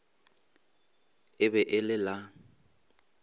e be e le la